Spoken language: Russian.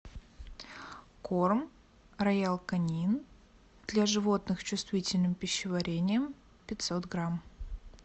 корм роял канин для животных с чувствительным пищеварением пятьсот грамм